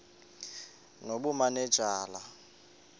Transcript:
nobumanejala